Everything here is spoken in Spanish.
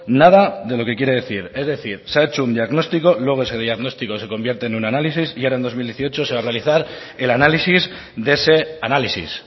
nada de lo que quiere decir es decir se ha hecho un diagnóstico luego ese diagnóstico se convierte en un análisis y ahora en dos mil dieciocho se va a realizar el análisis de ese análisis